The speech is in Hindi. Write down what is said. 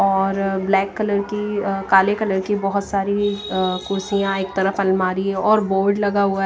और ब्लैक कलर की अ काले कलर की बहोत सारी अ कुर्सियां एक तरफ अलमारी है और बोर्ड लगा हुआ है।